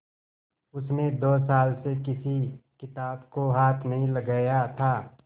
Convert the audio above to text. उसने दो साल से किसी किताब को हाथ नहीं लगाया था